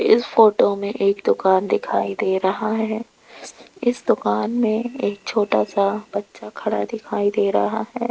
इस फोटो में एक दुकान दिखाई दे रहा है इस दुकान में एक छोटा सा बच्चा खड़ा दिखाई दे रहा है।